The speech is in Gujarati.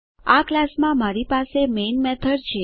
આ ક્લાસ માં મારી પાસે મેઈન મેથડ છે